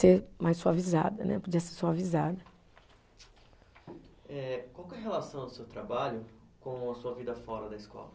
Ser mais suavizada, né, podia ser suavizada. Eh, qual que é a relação do seu trabalho com a sua vida fora da escola?